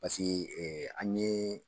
Paseke ɛ an ɲe.